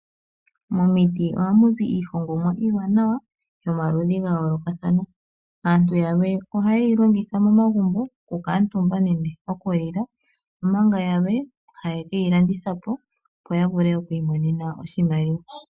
Momiti ohamu zi iihongomwa iiwanawa yomaludhi ga yoolokathana. Aantu yalwe ohayeyi longitha momagumbo oku kuutumba nenge okulila omanga yalwe haye keyi landitha po opo ya vule okwii monena oshimaliwa.